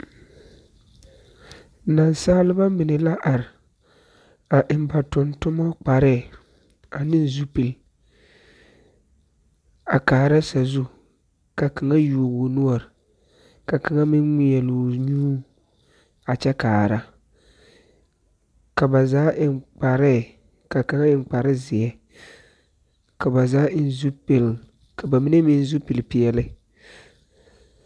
Nansaaleba mine la ar, a eŋ ba tontonnoo kparre ane zupil... a kaara sazu. Ka kaŋa yuo o noɔr, ka kaŋa meŋ ŋmeɛl’o nyuu a kyɛ kaara. Ka ba zaa eŋ kparee, ka kaŋa eŋ kparezeɛ, ka ba zaa eŋ zupil ka ba mine meŋ zupilpeɛle.